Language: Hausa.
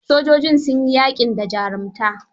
Sojojin sun yi yaƙin da jarumta.